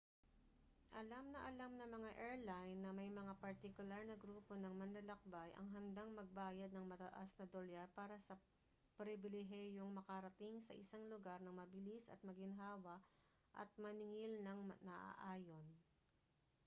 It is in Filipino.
alam na alam ng mga airline na may mga partikular na grupo ng manlalakbay ang handang magbayad ng mataas na dolyar para sa pribilehiyong makarating sa isang lugar nang mabilis at maginhawa at maningil nang naaayon